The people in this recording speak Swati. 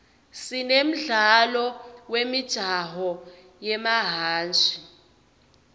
sine mdlalo wemijaho yemahhashi